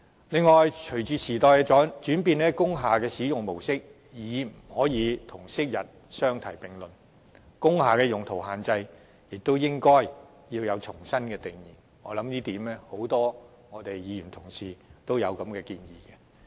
此外，隨着時代轉變，工廈的使用模式已不能與昔日的模式相提並論，工廈用途的限制也應須重新設定，相信不少議員對此也持相同看法。